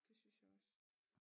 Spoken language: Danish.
Det synes jeg også